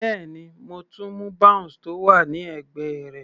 Bẹ́ẹ̀ni, mo tún mú bounce tó wà ní ẹ̀gbẹ́ rẹ̀.